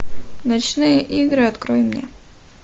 ночные игры открой мне